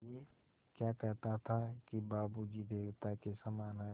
ऐं क्या कहता था कि बाबू जी देवता के समान हैं